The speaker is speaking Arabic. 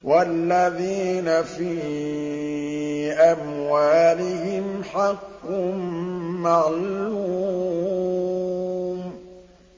وَالَّذِينَ فِي أَمْوَالِهِمْ حَقٌّ مَّعْلُومٌ